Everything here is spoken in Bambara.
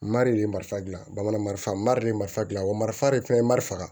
Mari ye marifa dilan bamanan marifa mari de ye marifa gilan wariso de fɛnɛ ye marifa